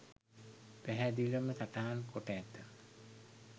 පැහැදිලිවම සටහන් කොට ඇත.